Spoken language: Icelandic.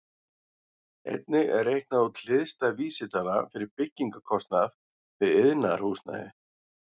Einnig er reiknuð út hliðstæð vísitala fyrir byggingarkostnað við iðnaðarhúsnæði.